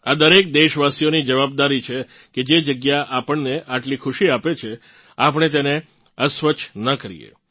આ દરેક દેશવાસીઓની જવાબદારી છે કે જે જગ્યા આપણને આટલી ખુશી આપે છે આપણે તેને અસ્વચ્છ ન કરીએ